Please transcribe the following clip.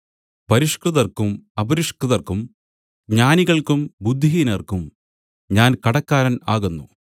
പരിഷ്കൃതർക്കും അപരിഷ്കൃതർക്കും ജ്ഞാനികൾക്കും ബുദ്ധിഹീനർക്കും ഞാൻ കടക്കാരൻ ആകുന്നു